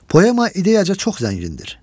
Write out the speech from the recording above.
Poema ideyaca çox zəngindir.